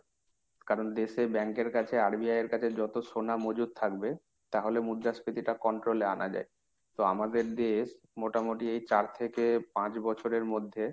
কারণ দেশের bank এর কাছে RBI এর কাছে যত সোনা মজুদ থাকবে, তাহলে মুদ্রাস্ফীতিটা control এ আনা যায়। তো আমাদের দেশ মোটামুটি এই চার থেকে পাঁচ বছরের মধ্যে,